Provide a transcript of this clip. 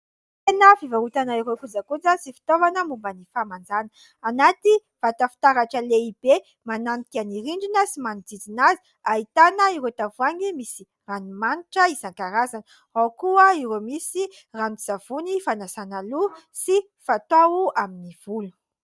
Tsena fivarotana ireo kojakoja sy fitaovana momban' ny fahamanjana ; anaty vata fitaratra lehibe mananika ny rindrina sy manodidina azy ahitana ireo tavoahangy misy ranomanitra isankarazany, ao koa ireo misy ranon-tsavony fanasana loha sy fatao amin'ny volo.